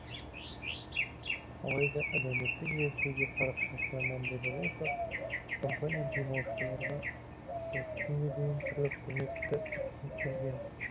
алайда әлеуметтік желідегі парақшасына мән берер болсақ компания демалушыларға осы күнге дейін түрлі қызметті ұсынып келген